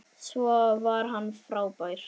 Svo var hann frábær.